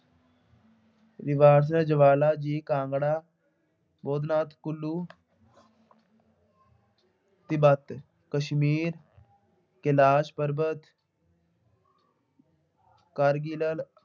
ਈਵਾਜ਼ ਜਵਾਲਾ ਜੀ ਕਾਂਗੜਾ, ਗੋਨਾ, ਕੁੱਲੂ, ਤਿੱਬਤ, ਕਸ਼ਮੀਰ ਕੈਲਾਸ਼ ਪਰਬਤ ਕਾਰਗੀਲਲ